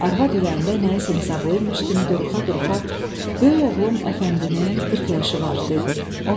Arvad ürəyində nəyisə hesablayırmış kimi duruxa-duruxa böyük oğlum Əfəndinin 40 yaşı var, dedi.